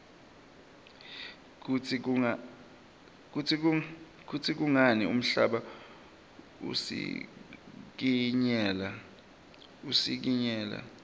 kutsi kungani umhlaba usikinyeka